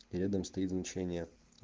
рядом стоит значение